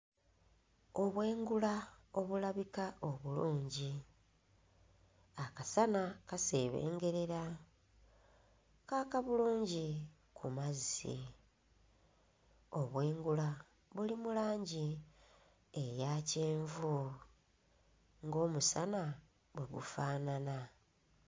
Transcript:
Obwengula obulabika obulungi, akasana kaseebengerera, kaaka bulungi ku mazzi, obwengula buli mu langi eyakyenvu ng'omusa bwe gufaanana.